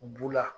Bu la